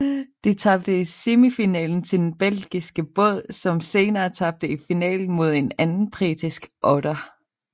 De tabte i semifinalen til den belgiske båd som senere tabte i finalen mod en anden britisk otter